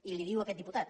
i li ho diu aquest diputat